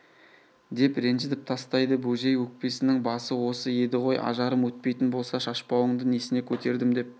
деп ренжітіп тастайды бөжей өкпесінің басы осы еді ғой ажарым өтпейтін болса шашпауыңды несіне көтердім деп